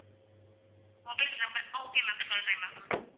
mobile number okay ma'am சொல்றேன் ma'am